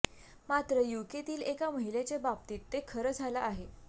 मात्र यूकेतील एका महिलेच्या बाबतीत ते खरं झालं आहे